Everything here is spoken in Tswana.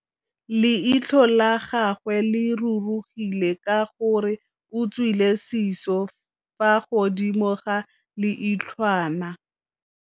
Leitlhô la gagwe le rurugile ka gore o tswile sisô fa godimo ga leitlhwana.